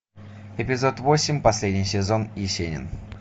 эпизод восемь последний сезон есенин